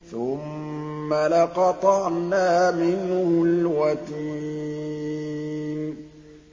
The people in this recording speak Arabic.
ثُمَّ لَقَطَعْنَا مِنْهُ الْوَتِينَ